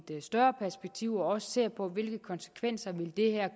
større perspektiv og også se på hvilke konsekvenser det her